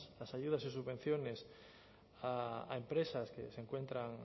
las ayudas y subvenciones a empresas que se encuentran